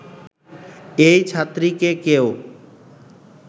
এই ছাত্রীকে কেউ